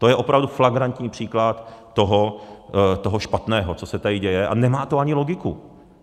To je opravdu flagrantní příklad toho špatného, co se tady děje, a nemá to ani logiku.